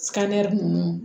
ninnu